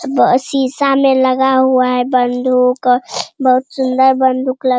ब शीशा में लगा हुआ है बंदूक बहुत सुंदर बंदूक लग --